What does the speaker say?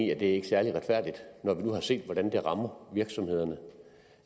jo ikke tale om